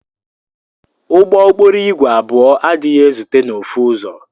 Ụgbọ okporo igwe abụọ adighi ezute na ofu ụzọ.